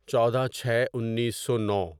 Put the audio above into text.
چودہ چھے انیسو نو